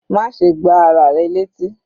Má ṣe gbá ara rẹ létí.